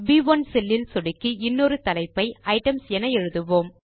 ப்1 செல்லில் சொடுக்கி இன்னொரு தலைப்பை ஐட்டம்ஸ் என எழுதுவோம்